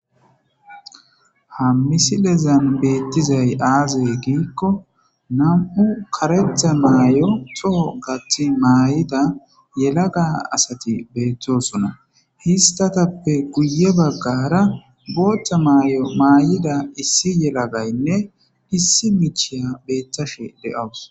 Ha missilezan bethizzay azza gikko nammu' karethe mayo toho gathi mayida yelaga assathi bethossona. Isthathape guye baggara boththa mayyo mayida issi yelagayinne issi michaya bethishe de'awus.